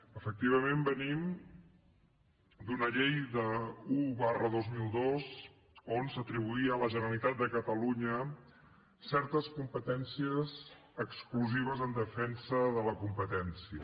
efectivament venim d’una llei un dos mil dos on s’atribuïa a la generalitat de catalunya certes competències exclusives en defensa de la competència